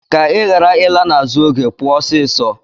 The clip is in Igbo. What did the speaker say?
Ka Ị ghara ịla n'azụ oge, pụọ ọsịsọ.